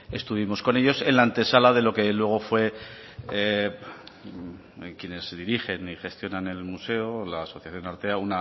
estuvimos con ellos en la antesala de lo que luego fue quienes dirigen y gestionan el museo la asociación artea